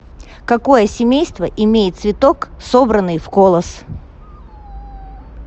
какое семейство имеет цветок собранный в колос